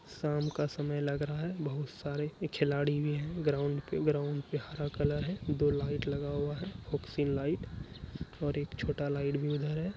शाम का समय लग रहा है बहुत सारे खिलाड़ी भी है ग्राउंड पे ग्राउंड पे हरा कलर है दो लाइट लगा हुआ है लाइट और एक छोटा लाइट भी उधर है।